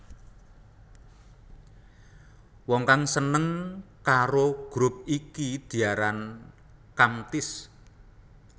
Wong kang seneng karo grup iki diaran Kamtis